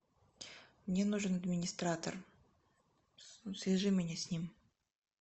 мне нужен администратор свяжи меня с ним